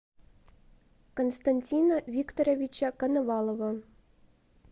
константина викторовича коновалова